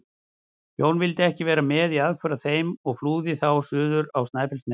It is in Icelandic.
Jón vildi ekki vera með í aðför að þeim og flúði þá suður á Snæfellsnes.